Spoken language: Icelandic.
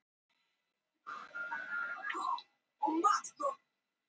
Öll námskeiðin sem hún hafi farið á hjá bankanum gegnum tíðina, loks borið árangur.